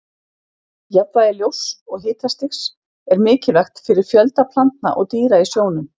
Jafnvægi ljóss og hitastigs er mikilvægt fyrir fjölda plantna og dýra í sjónum.